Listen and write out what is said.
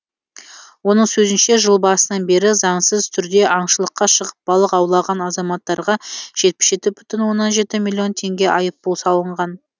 оның сөзінше жыл басынан бері заңсыз түрде аңшылыққа шығып балық аулаған азаматтарға жетпіс жеті бүтін оннан жеті миллион теңге айыппұл салынған